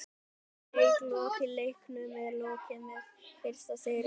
Leik lokið: Leiknum er lokið með fyrsta sigri Framara!!